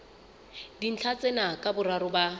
dintlha tsena ka boraro ba